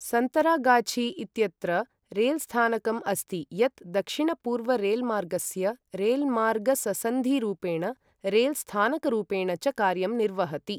सन्तरागाछी इत्यत्र रेलस्थानकम् अस्ति यत् दक्षिणपूर्वरेल्मार्गस्य रेल्मार्गससन्धिरूपेण रेलस्थानकरूपेण च कार्यं निर्वहति।